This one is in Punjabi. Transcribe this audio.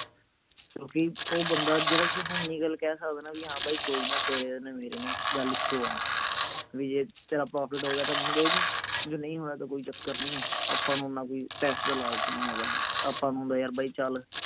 ਕਿਓਂਕਿ ਓ ਬੰਦਾ ਜਿਹੜਾ ਥੋਨੂੰ ਉੱਨੀ ਗੱਲ ਕਹਿ ਸਕਦਾ ਵੀ ਹਾਂ ਬਾਈ ਕੋਈ ਨਾ ਤੇਰੇ ਨੇ ਮੇਰੇ ਨੇ ਗੱਲ ਇੱਕੋ ਆ ਵੀ ਜੇ ਤੇਰਾ profit ਹੋ ਗਿਆ ਤਾਂ ਮੈਨੂੰ ਦੇ ਦੇਈਂ ਜੇ ਨਹੀਂ ਹੋਇਆ ਤਾਂ ਕੋਈ ਚੱਕਰ ਨਹੀਂ ਆਪਾਂ ਨੂੰ ਓਨਾ ਕੋਈ ਪੈਸੇ ਦਾ ਲਾਲਚ ਨਹੀਂ ਹੈਗਾ ਆਪਾਂ ਨੂੰ ਹੁੰਦੇ ਯਾਰ ਬਾਈ ਚੱਲ